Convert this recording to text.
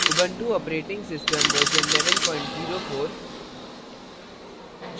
Ubuntu operating system version 1104